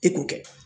E k'o kɛ